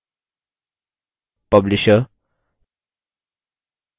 publisher